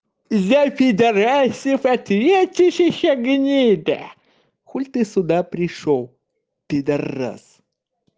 за пидараса ответишь ещё гнида хули ты сюда пришёл пидарас